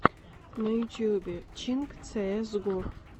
на ютюбе чинк цеэс го